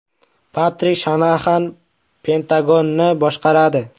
Patrik Shanaxan Pentagonni boshqaradi.